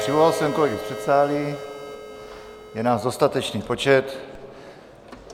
Přivolal jsem kolegy z předsálí, je nás dostatečný počet.